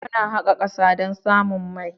Muna haƙa ƙasa don samun mai.